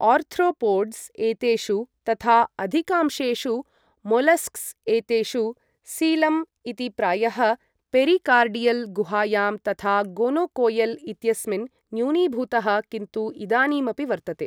Arthropods एतेषु तथा अधिकांशेषु मोलस्क्स् एतेषु सीलम् इति प्रायः पेरिकार्डियल् गुहायां तथा गोनोकोएल् इत्यस्मिन् न्यूनीभूतः किन्तु इदानीमपि वर्तते ।